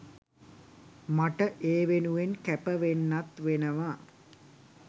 මට ඒ වෙනුවෙන් කැප වෙන්නත් වෙනවා.